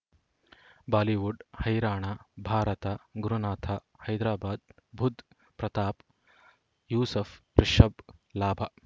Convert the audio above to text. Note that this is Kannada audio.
ಬಾಲಿವುಡ್ ಹೈರಾಣ ಭಾರತ ಗುರುನಾಥ ಹೈದರಾಬಾದ್ ಬುಧ್ ಪ್ರತಾಪ್ ಯೂಸುಫ್ ರಿಷಬ್ ಲಾಭ